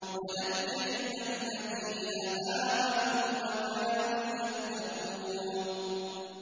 وَنَجَّيْنَا الَّذِينَ آمَنُوا وَكَانُوا يَتَّقُونَ